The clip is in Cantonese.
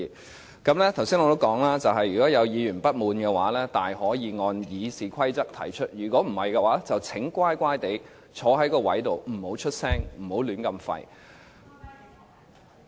我剛才也說過，如果有議員不滿，可以按照《議事規則》提出，否則，請安坐席上不要發聲，不要"亂吠"。